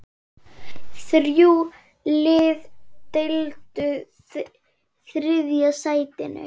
Þrjú lið deildu þriðja sætinu.